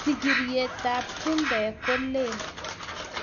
Sigiryet tab chumbek kolel